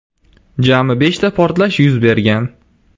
Jami beshta portlash yuz bergan.